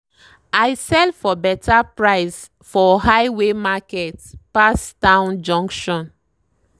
i sell for better price for highway market pass town junction.